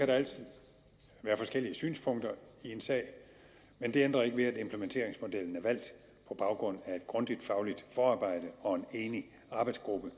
der altid være forskellige synspunkter i en sag men det ændrer ikke ved at implementeringsmodellen er valgt på baggrund af et grundigt fagligt forarbejde og en enig arbejdsgruppe